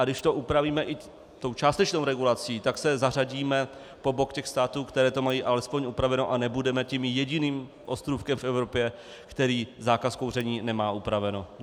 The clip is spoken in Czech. A když to upravíme i tou částečnou regulací, tak se zařadíme po bok těch států, které to mají alespoň upraveno, a nebudeme tím jediným ostrůvkem v Evropě, který zákaz kouření nemá upraven.